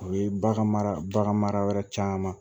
O ye bagan mara bagan mara caman